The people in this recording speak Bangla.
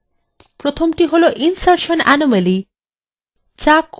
প্রথমটি হলো insertion anomaly